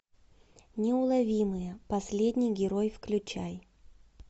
неуловимые последний герой включай